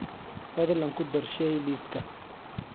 fadlan ku dar shay liiska